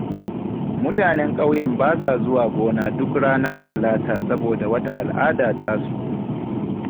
Mutanen ƙauyen ba sa zuwa gona duk ranar Talata saboda wata al'ada tasu.